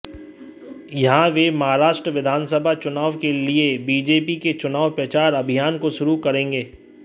यहां वे महाराष्ट्र विधानसभा चुनाव के लिए बीजेपी के चुनाव प्रचार अभियान को शुरू करेंगे